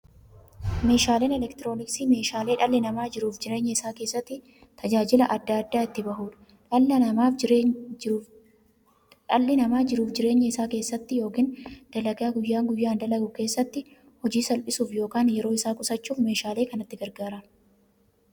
Meeshaaleen elektirooniksii meeshaalee dhalli namaa jiruuf jireenya isaa keessatti, tajaajila adda addaa itti bahuudha. Dhalli namaa jiruuf jireenya isaa keessatti yookiin dalagaa guyyaa guyyaan dalagu keessatti, hojii isaa salphissuuf yookiin yeroo isaa qusachuuf meeshaalee kanatti gargaarama.